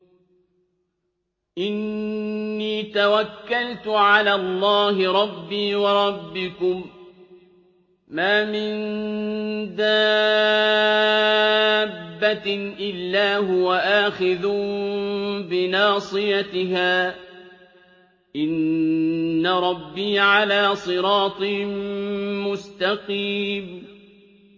إِنِّي تَوَكَّلْتُ عَلَى اللَّهِ رَبِّي وَرَبِّكُم ۚ مَّا مِن دَابَّةٍ إِلَّا هُوَ آخِذٌ بِنَاصِيَتِهَا ۚ إِنَّ رَبِّي عَلَىٰ صِرَاطٍ مُّسْتَقِيمٍ